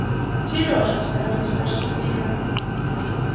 серёж осторожно спрашиваю я